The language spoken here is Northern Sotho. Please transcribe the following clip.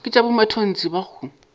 ke tša bomatontshe ba go